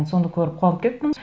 соны көріп қуанып кеттім